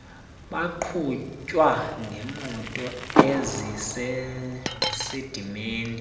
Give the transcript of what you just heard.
baqhutywa ngemoto ezisesidimeni